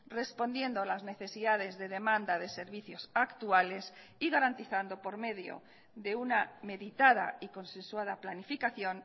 respondiendo las necesidades de demanda de servicios actuales y garantizando por medio de una meditada y consensuada planificación